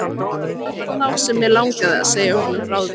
Það var þá sem mig langaði að segja honum frá því.